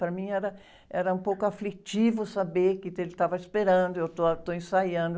Para mim era, era um pouco aflitivo saber que ele estava esperando, eu estou, estou ensaiando.